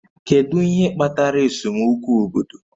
Kedu ihe kpatara esemokwu obodo?